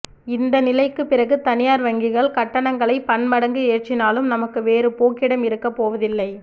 இந்த நிலைக்குப் பிறகு தனியார் வங்கிகள் கட்டணங்களை பன்மடங்கு ஏற்றினாலும் நமக்கு வேறு போக்கிடம் இருக்கப் போவதில்லை